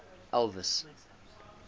elvis